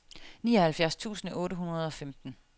nioghalvfjerds tusind otte hundrede og femten